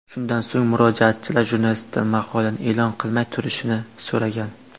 Shundan so‘ng, murojaatchilar jurnalistdan maqolani e’lon qilmay turishni so‘ragan.